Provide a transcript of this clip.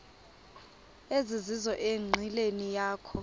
ezizizo enqileni yakho